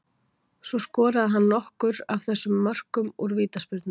Svo skoraði hann nokkur af þessum mörkum úr vítaspyrnum.